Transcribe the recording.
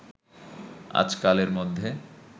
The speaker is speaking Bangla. আজকালের মধ্যে